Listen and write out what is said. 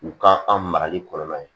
U ka an marali kɔlɔlɔ ye